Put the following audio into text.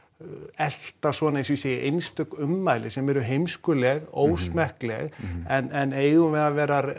elta svona eins og ég segi einstök ummæli sem eru heimskuleg ósmekkleg en eigum við að vera